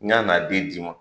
N y'a n'a den di i ma.